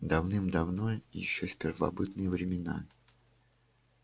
давным-давно ещё в первобытные времена